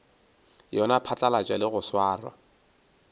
yona phatlalatša le go swara